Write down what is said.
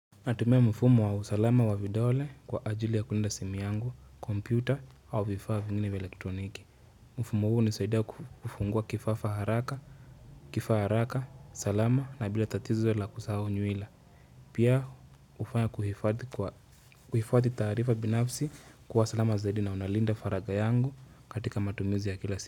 Natumia mfumu wa usalama wa vidole kwa ajili ya kulinda simu yangu, kompyuta, au vifaa vingine vya elektroniki. Mfumo huu hunisaidia kufungua kifafa haraka, kifaa haraka, salama, na bila tatizo la kusahu nyuila. Pia ufanya kuhifadhi taarifa binafsi kuwa salama zaidi na unalinda faraga yangu katika matumizi ya kila siku.